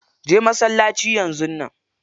Je masallaci yanzun nan.